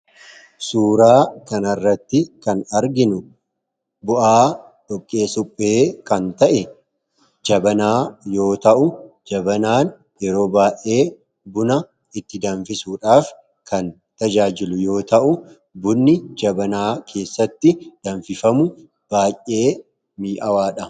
Suuraa kanarratti kan arginu bu'aa dhoqqee suphee kan ta'e jabanaa yoo ta'u jabanaan yeroo baa'ee buna itti danfisudhaaf kan tajaajilu yoo ta'u bunni jabanaa keessatti danfifamu baay'ee mii'awaadha.